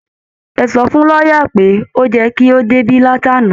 Ẹ sọ fún lọ́yà pé ó yẹ kó ti débi látàná